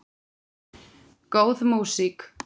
Góð músík.